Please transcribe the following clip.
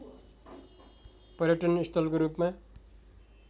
पर्यटन स्थलको रूपमा